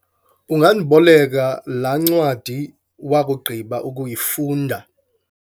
ungandiboleka laa ncwadi wakugqiba ukuyifunda?